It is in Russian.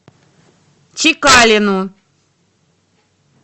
чекалину